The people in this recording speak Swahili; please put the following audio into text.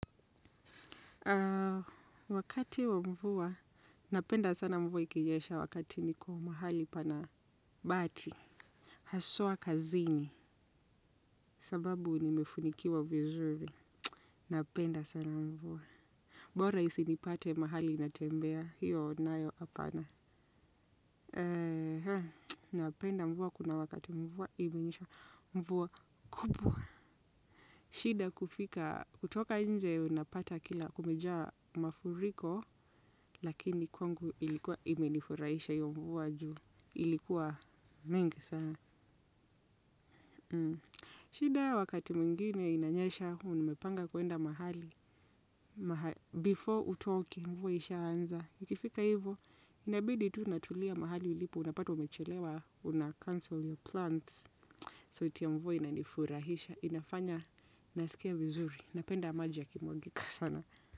Wakati wa mvuwa, napenda sana mvua ikinyesha wakati niko mahali pana bati. Haswa kazini, sababu nimefunikiwa vizuri. Napenda sana mvuwa. Bora isinipate mahali natembea, hiyo nayo apana. Napenda mvuwa kuna wakati mvuwa imenyesha mvuwa kubwa. Shida kufika, kutoka nje unapata kila kumejaa mafuriko, lakini kwangu ilikuwa imenifurahisha hiyo mvuwa juu. Ilikuwa mingi sana. Shida wakati mwingine inanyesha umepanga kuenda mahali. Before utoke, mvua ishaanza. Ikifika hivo, inabidi tu unatulia mahali ulipo, unapata umechelewa, unacancel your plans. Sauti ya mvua inanifurahisha. Inafanya naskia vizuri napenda maji yakimwagika sana.